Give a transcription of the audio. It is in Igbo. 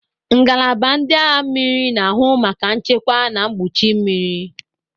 Ngalaba ndị agha mmiri na-ahụ maka nchekwa na mgbuchi mmiri.